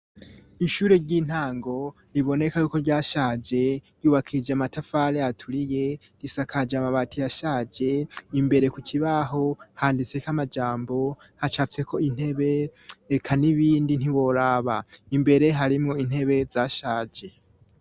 Ishuri ry'intango riboneka yuko ryashaje, ryubakije amatafari aturiye ,risakaje amabati yashaje, imbere ku kibaho handise ko amajambo hacafye ko intebe, reka n'ibindi ntiworaba, imbere harimwo intebe zashaje.